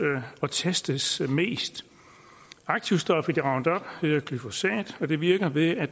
og testes mest aktivstoffet i roundup hedder glyfosat og det virker ved at